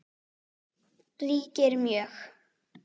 ríkir mjög.